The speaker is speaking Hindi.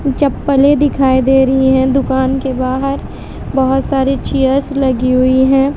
चप्पलें दिखाई दे रही हैं दुकान के बाहर बहोत सारी चेयर्स लगी हुई हैं।